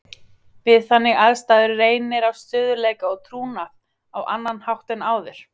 Við þannig aðstæður reynir á stöðugleika og trúnað á annan hátt en áður.